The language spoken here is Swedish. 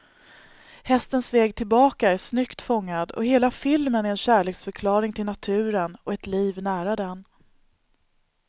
Hästens väg tillbaka är snyggt fångad, och hela filmen är en kärleksförklaring till naturen och ett liv nära den.